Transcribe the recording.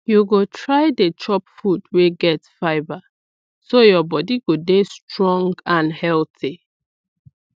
you go try dey chop food wey get fibre so your body go dey strong and healthy